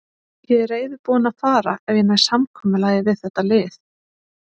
Ég er reiðubúinn að fara ef ég næ samkomulagi við þetta lið.